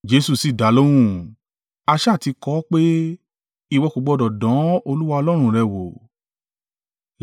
Jesu sì dalóhùn, “A sá à ti kọ ọ́ pé, ‘Ìwọ kò gbọdọ̀ dán Olúwa Ọlọ́run rẹ wò.’ ”